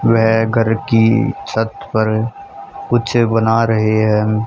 वे घर की छत पर कुछ बना रहे हैं।